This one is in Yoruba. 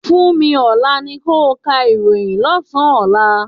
Funmi, Olá ni ko ka ìròhìn lọ́sán-an ọ̀la.